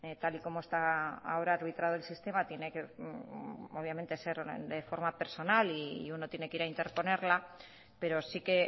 tal y como está ahora arbritado el sistema tiene que obviamente ser de forma personal y uno tiene que a interponerla pero sí que